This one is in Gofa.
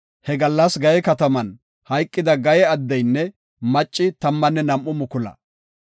He gallas Gaye kataman hayqida addeynne macci tammanne nam7u mukula.